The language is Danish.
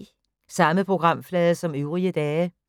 Samme programflade som øvrige dage